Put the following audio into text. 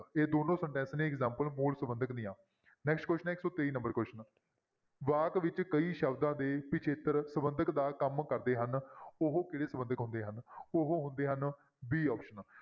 ਇਹ ਦੋਨੋਂ sentence ਨੇ examples ਮੂਲ ਸੰਬੰਧਕ ਦੀਆਂ next question ਹੈ ਇੱਕ ਸੌ ਤੇਈ number question ਵਾਕ ਵਿੱਚ ਕਈ ਸ਼ਬਦਾਂ ਦੇ ਪਿੱਛੇਤਰ ਸੰਬੰਧਕ ਦਾ ਕੰਮ ਕਰਦੇ ਹਨ ਉਹ ਕਿਹੜੇ ਸੰਬੰਧਕ ਹੁੰਦੇ ਹਨ ਉਹ ਹੁੰਦੇ ਹਨ b option